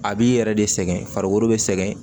A b'i yɛrɛ de sɛgɛn farikolo be sɛgɛn